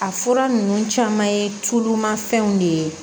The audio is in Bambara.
A fura ninnu caman ye tulumafɛnw de ye